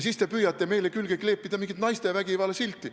Siis te püüate meile külge kleepida mingit naistevastase vägivalla silti.